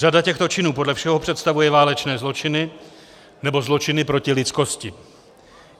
Řada těchto činů podle všeho představuje válečné zločiny nebo zločiny proti lidskosti.